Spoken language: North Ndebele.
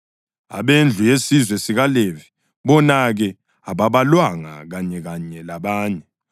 Abendlu yesizwe sikaLevi, bona-ke, ababalwanga kanyekanye labanye.